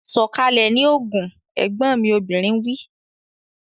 Sọ̀kalẹ̀ ní Ogun! Ẹ̀gbọ́n mi obìnrin wí.